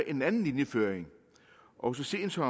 en anden linjeføring og så sent som